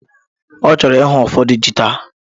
Ọ chọrọ ihu ụfọdụ ji taa